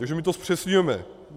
Takže my to zpřesňujeme.